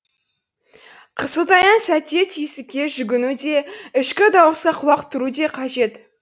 қысылтаяң сәтте түйсікке жүгіну де ішкі дауысқа құлақ түру де қажет